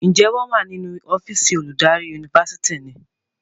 Njé wón wá nínú ọ́fíìsì oludari Yunifásitìni?